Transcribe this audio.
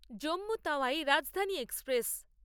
Jammu Tawi Rajdhani express